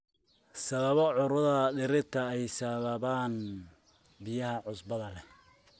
Sababo cudurada dhirta ay sababaan biyaha cusbada leh.